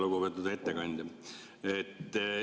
Lugupeetud ettekandja!